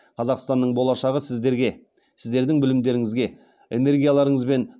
қазақстанның болашағы сіздерге сіздердің білімдеріңізге энергияларыңыз бен